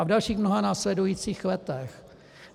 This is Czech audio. A v dalších mnoha následujících letech.